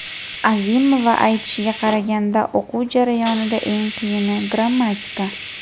Azimova aytishiga qaraganda, o‘quv jarayonida eng qiyini – grammatika.